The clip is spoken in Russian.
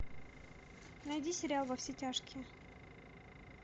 найди сериал во все тяжкие